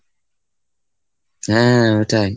হ্যাঁ ওটাই।